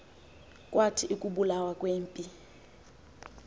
kwathi ukubulawa kwempi